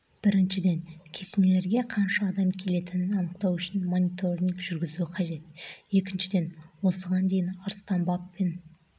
біріншіден кесенелерге қанша адам келетінін анықтау үшін мониторинг жүргізу қажет екіншіден осыған дейін арыстан баб пен